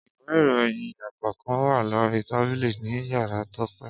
ìwé ìròyìn ẹ́ẹ́kọ̀kan wa lori tabili ni yárá Tope.